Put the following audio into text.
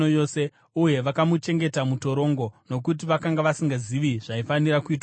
uye vakamuchengeta mutorongo, nokuti vakanga vasingazivi zvaifanira kuitwa kwaari.